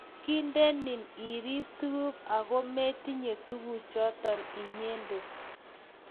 Kindenen irib tuguk ago metinye tuguchoto inyendet